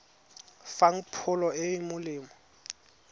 fang pholo e e molemo